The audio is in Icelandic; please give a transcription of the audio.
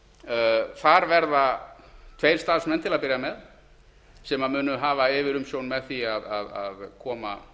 heita þar verða tveir starfsmenn til að byrja með sem munu hafa yfirumsjón með því að koma